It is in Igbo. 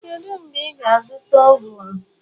Kedu mgbe ị ga-azụta ovun?